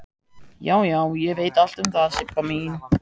Já, já, ég veit allt um það, Sibba mín.